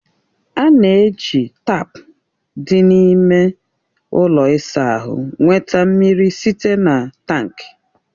A na-eji taapu dị n'ime ụlọ ịsa ahụ nweta mmiri site na tankị